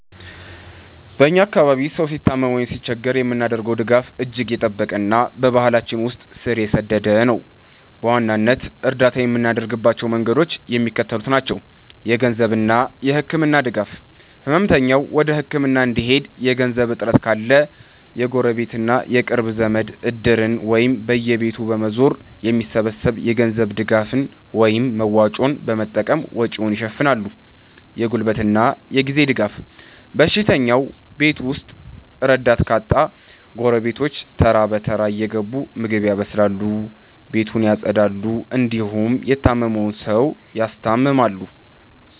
በ እኛ አካባቢ ሰው ሲታመም ወይም ሲቸገር የምናደርገው ድጋፍ እጅግ የጠበቀና በባህላችን ውስጥ ስር የሰደደ ነው። በዋናነት እርዳታ የምናደርግባቸው መንገዶች የሚከተሉት ናቸው -የገንዘብና የህክምና ድጋፍ፦ ህመምተኛው ወደ ህክምና እንዲሄድ የገንዘብ እጥረት ካለ፣ ጎረቤትና የቅርብ ዘመድ "እድር"ን ወይም በየቤቱ በመዞር የሚሰበሰብ የገንዘብ ድጋፍን (መዋጮ) በመጠቀም ወጪውን ይሸፍናሉ። የጉልበትና የጊዜ ድጋፍ፦ በሽተኛው ቤት ውስጥ ረዳት ካጣ፣ ጎረቤቶች ተራ በተራ እየገቡ ምግብ ያበስላሉ፣ ቤት ያፀዳሉ እንዲሁም የታመመውን ሰው ያስታምማሉ።